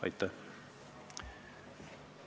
Aitäh!